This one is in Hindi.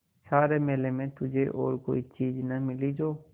सारे मेले में तुझे और कोई चीज़ न मिली जो